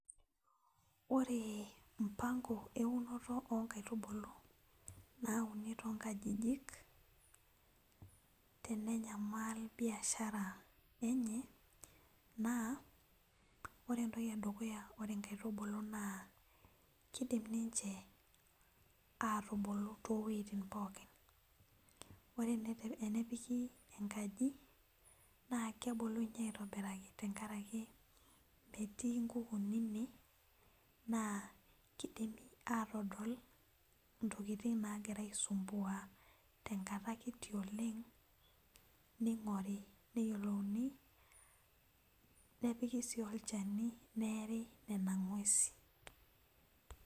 Ore mpango eunoto oonkaitubulu naa unintonkajiji tenenyamal biasha enye naa ore entoki edukuya naa keidim ninche aaatubulu toowuejitin pookin ore tenepiki enkaji naa kebulu aitobiraki amu metii inkukuni ine naa keidim aatodol intokitin naagira aisumbua tenkata kitii oleng ning'ori neyiolouni nepiki sii olchani neeri nena ng'uesin